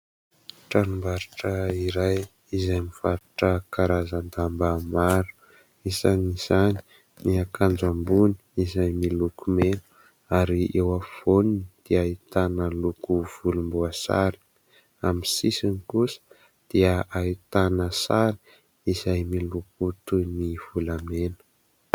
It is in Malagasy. Tranombarotra iray izay mivarotra karazan-damba maro. Isan'izany ny akanjo ambony izay miloko mena ary eo afovoany dia ahitana loko volomboasary. Amin'ny sisiny kosa dia ahitana sary izay miloko toy ny volamena.